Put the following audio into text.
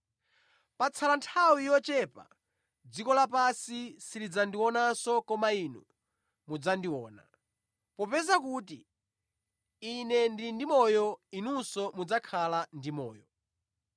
Patsala nthawi yochepa dziko lapansi silidzandionanso koma inu mudzandiona. Popeza kuti Ine ndili ndi moyo, inunso mudzakhala ndi moyo.